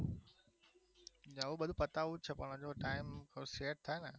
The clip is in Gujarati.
હવે બધું પતાવું જ છે પણ હજુ time set થાય ને